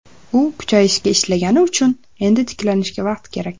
U kuchayishga ishlagani uchun, endi tiklanishga vaqt kerak.